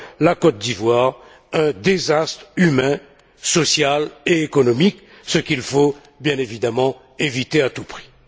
la Côte d'Ivoire un désastre humain, social et économique, ce qu'il faut, bien évidemment, éviter à tout prix.